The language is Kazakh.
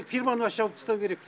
фирманы вообще жауып тастау керек